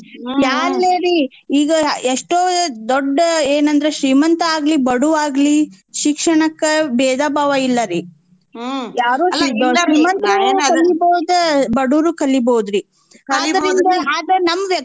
ಯಾಲ್ಲೇ ರೀ ಈಗ ಎಸ್ಟೋ ದೊಡ್ಡ ಎನಂದ್ರ್ ಶ್ರೀಮಂತಾ ಆಗ್ಲಿ ಬಡ್ವ ಆಗ್ಲಿ ಶಿಕ್ಷಣಕ್ಕ ಬೇಧಭಾವ ಇಲ್ಲಾರಿ. ಶ್ರೀಮಂತ್ರೂ ಕಲಿಬೌದ್ ಬಡ್ವರೂ ಕಲಿಬೌದ್ರೀ ನಮ್ದ,